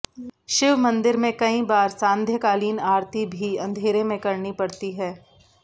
शिव मंदिर में कई बार सांध्यकालीन आरती भी अंधेरे में करनी पड़ती है